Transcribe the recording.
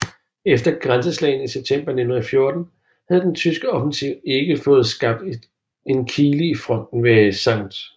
Efter grænseslagene i september 1914 havde den tyske offensiv ikke fået skabt en kile i fronten ved St